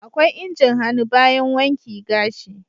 akwai injin hannu bayan wanki gashi.